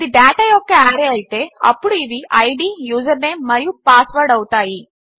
ఇది డేటా యొక్క ఆర్రే అయితే అప్పుడు ఇవి ఐడీ యూజర్నేమ్ మరియు పాస్వర్డ్ అవుతాయి